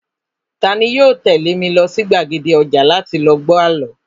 Tani yoo tẹ̀lé mi lọ sí gbàgede ọjà láti lọ gbọ́ àlọ́?